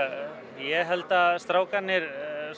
ég held að strákarnir